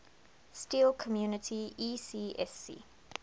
steel community ecsc